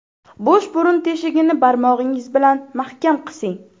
Bo‘sh burun teshigini barmog‘ingiz bilan mahkam qising.